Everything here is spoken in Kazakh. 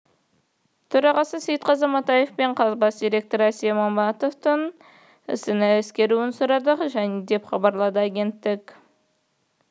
төрағасы сейтқазы матаев мен қаз бас директоры әсет матаевтың ісін ескеруін сұрады деп хабарлады агенттік